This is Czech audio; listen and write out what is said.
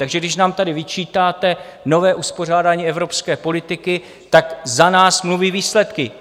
Takže když nám tady vyčítáte nové uspořádání evropské politiky, tak za nás mluví výsledky.